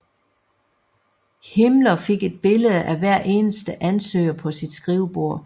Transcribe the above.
Himmler fik et billede af hver eneste ansøger på sit skrivebord